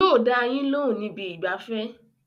Yóò dá a yín lóhùn níbi ìgbafẹ́